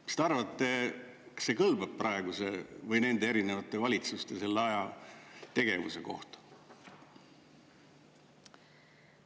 Mis te arvate, kas see kõlbab praeguse või nende erinevate valitsuste, selle aja tegevuse kohta?